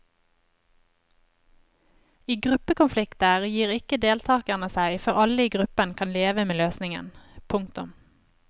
I gruppekonflikter gir ikke deltagerne seg før alle i gruppen kan leve med løsningen. punktum